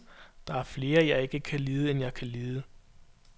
Der er flere, jeg ikke kan lide, end jeg kan lide.